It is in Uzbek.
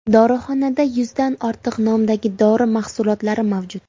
Dorixonada yuzdan ortiq nomdagi dori mahsulotlari mavjud.